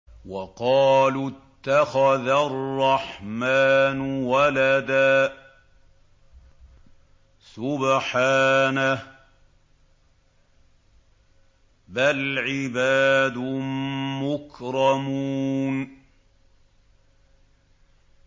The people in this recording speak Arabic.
وَقَالُوا اتَّخَذَ الرَّحْمَٰنُ وَلَدًا ۗ سُبْحَانَهُ ۚ بَلْ عِبَادٌ مُّكْرَمُونَ